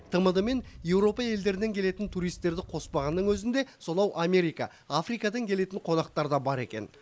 тмд мен еуропа елдерінен келетін туристерді қоспағанның өзінде сонау америка африкадан келетін қонақтар да бар екен